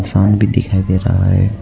भी दिखाई दे रहा है।